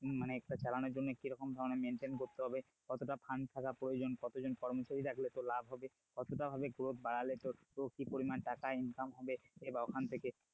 মানে একটা চালানোর জন্য কি রকম ধরনের maintain করতে হবে কতটা fund থাকা প্রয়োজন কতজন কর্মচারী রাখলে তোর লাভ হবে কত টা ভাবে growth বাড়ালে তোর কি পরিমান টাকা income হবে এ বা ওখান থেকে,